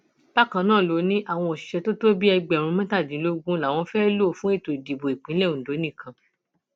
bákan náà ló ní àwọn òṣìṣẹ tó tó bíi ẹgbẹrún mẹtàdínlógún làwọn fẹẹ lò fún ètò ìdìbò ìpínlẹ ondo nìkan